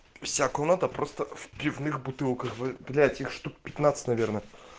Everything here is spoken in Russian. вся комната просто в пивных бутылках блять их штук пятнадцать наверное